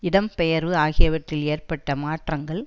இடம் பெயர்வு ஆகியவற்றில் ஏற்பட்ட மாற்றங்கள்